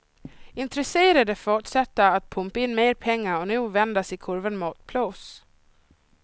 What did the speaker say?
Intresserade fortsätter att pumpa in mer pengar och nu vänder sig kurvan mot plus.